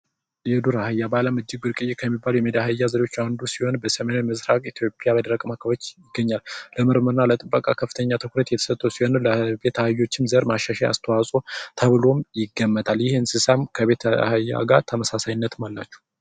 የዱር ዐህያ በአለም እጅግ ብርቅዬ ከሚባሉ ት ውስጥ የዱር አህያ አንዱ ሲሆን በምስራቅ ኢትዮጵያ በደረቃማ አካባቢዎች ይገኛል የምርምርና ከፍተኛ ትኩረት የተሰጠው ለዱር አህያ ማሻሻያ አስተዋጽኦ ተብሎ ይገመታል ይህ እንስሳም ከቤት አህያ ጋር ተመሳሳይነት አላቸው።